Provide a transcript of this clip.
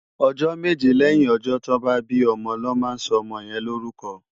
Òjò méjé lèyín òjò tò bá bi òmò lò má sò òmò yèn no órùkò